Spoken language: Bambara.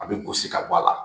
A bɛ gosi ka bɔ a la